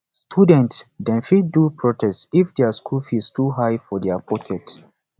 student dem fit do protest if dia school fees too high for dia pocket